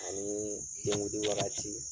Ani denkudi wagati